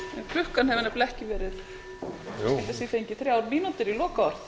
klukkan hefur nefnilega ekki verið get ég fengið þrjár mínútur í lokaorð